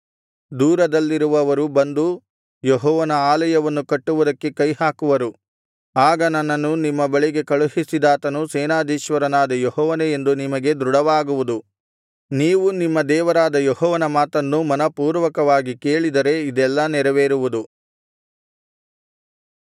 ದೂರದಲ್ಲಿರುವವರು ಬಂದು ಯೆಹೋವನ ಆಲಯವನ್ನು ಕಟ್ಟುವುದಕ್ಕೆ ಕೈಹಾಕುವರು ಆಗ ನನ್ನನ್ನು ನಿಮ್ಮ ಬಳಿಗೆ ಕಳುಹಿಸಿದಾತನು ಸೇನಾಧೀಶ್ವರನಾದ ಯೆಹೋವನೇ ಎಂದು ನಿಮಗೆ ದೃಢವಾಗುವುದು ನೀವು ನಿಮ್ಮ ದೇವರಾದ ಯೆಹೋವನ ಮಾತನ್ನು ಮನಃಪೂರ್ವಕವಾಗಿ ಕೇಳಿದರೆ ಇದೆಲ್ಲಾ ನೆರವೇರುವುದು